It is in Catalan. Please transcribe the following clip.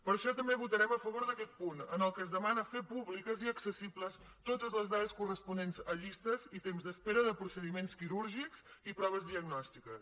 per això també votarem a favor d’aquest punt en què es demana fer públiques i accessibles totes les dades corresponents a llistes i temps d’espera de procediments quirúrgics i proves diagnòstiques